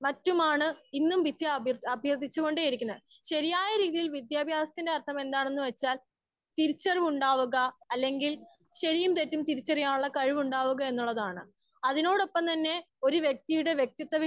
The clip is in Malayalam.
സ്പീക്കർ 1 മറ്റുമാണ് ഇന്നും വിദ്യ വിദ്യ അഭ്യർത്ഥിച്ച് കൊണ്ടേ ഇരിക്കുന്നത്. ശരിയായ രീതിയിൽ വിദ്യാഭ്യാസ ത്തിന്റെ അർത്ഥം എന്താണ് എന്ന് വെച്ചാൽ തിരിച്ച് അറിവ് ഉണ്ടാവുക അല്ലെങ്കിൽ ശരിയും തെറ്റും തിരിച്ചർക്കയാനുള്ള കഴിവ് ഉണ്ടാവുക എന്നതാണ് അതിനോടൊപ്പം തന്നെ ഒര്‌ വ്യക്തിയുടെ വ്യക്തിത്തം